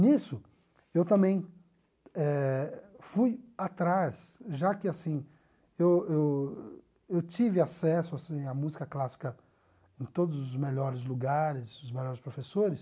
Nisso, eu também eh fui atrás, já que assim eu eu tive acesso assim à música clássica em todos os melhores lugares, os melhores professores.